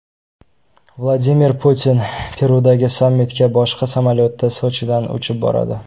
Vladimir Putin Perudagi sammitga boshqa samolyotda, Sochidan uchib boradi.